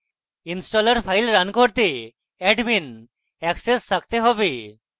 installer file run করতে admin access থাকতে have